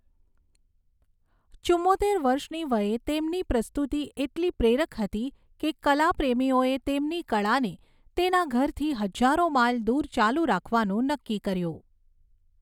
ચુંમોતેર વર્ષની વયે તેમની પ્રસ્તુતિ એટલી પ્રેરક હતી કે કલા પ્રેમીઓએ તેમની કળાને તેના ઘરથી હજારો માઇલ દૂર ચાલુ રાખવાનું નક્કી કર્યું.